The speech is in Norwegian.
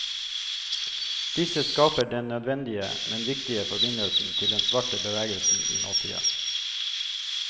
Disse skaper den nødvendige, men viktige forbindelsen til den svarte bevegelsen i nåtida.